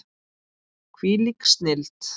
Hvílík snilld!